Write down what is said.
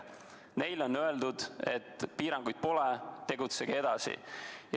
Neile on öeldud, et piiranguid pole, tegutsege edasi.